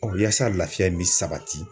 Yaasa lafiya bɛ sabati